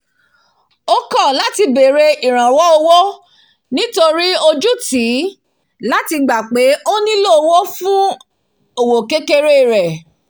ó kọ̀ láti bère ìràwó owó nítorí ojú tìí láti gbà pé ó nílò ìrànwó fún òwò kékeré rẹ̀